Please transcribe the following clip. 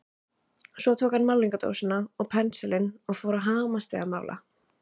Svo tók hann málningardósina og pensilinn og fór að hamast við að mála.